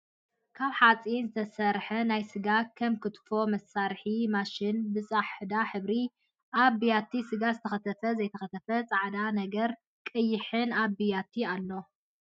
ካብ ሓፂን ዝተሰርሐ ናይ ስጋ ከም ክትፎ መስርሒት ማሽን ብፃሕዳ ሕብሪ ኣብ ቢያቲ ስጋ ዝተከተፈ ዘይተከተፈን ፃዕዳ ነገር ቀይሕን ኣብ ቢያቲ ኣሎ።